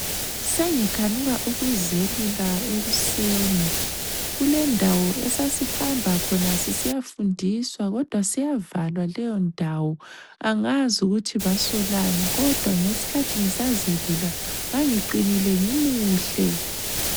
Sengikhanuka ukuzelula ekuseni. Kulendawo esasihamba khona sisiya fundiswa kodwa seyavalwa leyondawo angazi ukuthi basolani kodwa ngesikhathi nngisazelula ngangiqinile ngimuhle.